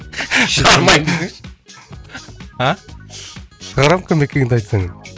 шығармаймын десеңші а шығарамын кім екеніңді айтсаң